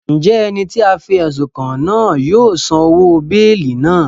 Njẹ ẹni ti a fi ẹsun kàn náà yóò san òwò beeli náà?